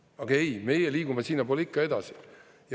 Aga ei, meie liigume sinnapoole ikka edasi!